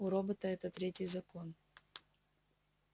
у робота это третий закон